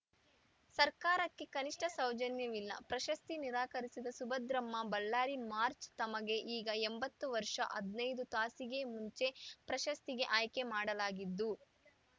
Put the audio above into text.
ಸರ್ಕಾರಕ್ಕೆ ಕನಿಷ್ಠ ಸೌಜನ್ಯವಿಲ್ಲ ಪ್ರಶಸ್ತಿ ನಿರಾಕರಿಸಿದ ಸುಭದ್ರಮ್ಮ ಬಳ್ಳಾರಿ ಮಾರ್ಚ್ ತಮಗೆ ಈಗ ಎಂಬತ್ತು ವರ್ಷ ಹದಿನೈದು ತಾಸಿಗೆ ಮುಂಚೆ ಪ್ರಶಸ್ತಿಗೆ ಆಯ್ಕೆ ಮಾಡಲಾಗಿದ್ದು